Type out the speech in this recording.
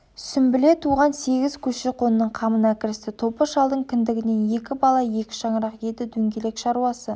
сүмбіле туған сегіз көші-қонның қамына кірісті топы шалдың кіндігінен екі бала екі шаңырақ еді дөңгелек шаруасы